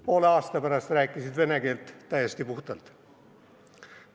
Poole aasta pärast rääkisid nad vene keelt täiesti puhtalt.